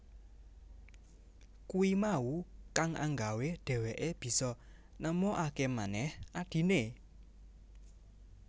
Kuwi mau kang anggawé dheweké bisa nemukakémanèh adhiné